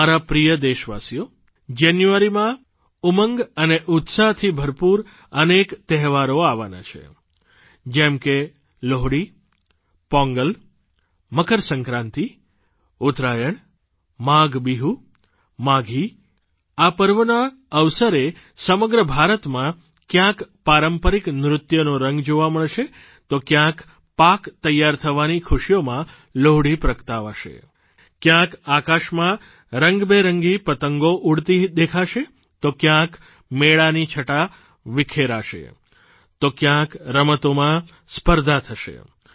મારા પ્યારા દેશવાસીઓ જાન્યુઆરીમાં ઉમંગ અને ઉત્સાહથી ભરપૂર અનેક તહેવારો આવવાના છે જેમ કે લોહડી પોંગલ મકરસંક્રાંતિ ઉત્તરાયણ માઘ બિહૂ માઘી પર્વોના અવસરે સમગ્ર ભારતમાં ક્યાંક પારંપરિક નૃત્યોનો રંગ જોવા મળશે તો ક્યાંક પાક તેયાર થવાની ખુશીઓમાં લોહડી પ્રગટાવાશે ક્યાંક આકાશમાં રંગબેરંગી પતંગો ઉડતી દેખાશે તો ક્યાંક મેળાની છટા વિખરાશે તો ક્યાંક રમતોમાં સ્પર્ધા થશે